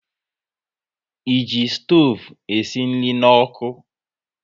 E ji stoovu e si nri n'ọkụ